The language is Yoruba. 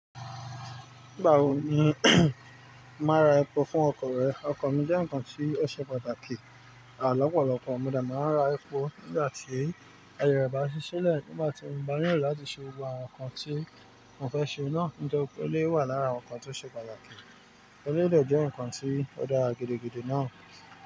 Nígbà wo ni o màá ra epo fún ọkọ̀ rẹ? Ọkọ̀ mi jẹ́ nǹkan tí ó ṣe pàtàkì, à lọ́ pọ̀lọpọ̀. Mo dẹ̀ máa ń ra epo nígbà tí àyè bá ṣí sílẹ̀, nígbà tí mo bá nílò láti ṣe gbogbo àwọn nǹkan tí mo fẹ́ ṣe náà, nítorí pé èléyìí wà lára àwọn nǹkan tí ó ṣe pàtàkì, tó o dẹ̀ jẹ́ nǹkan tí ó dára gidigidi náà.